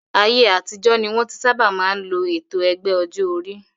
Ayé àtijọ́ ni wọ́n tí sábà máa ń lo ètò ẹgbẹ́ ọjọ́ orí